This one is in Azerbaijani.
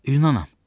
Yunanım.